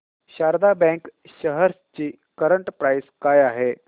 Sharda bank shares ची current price काय आहे